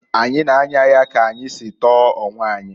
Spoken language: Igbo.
Anyi na-anya ya ka anyi si tọọ onwe anyị.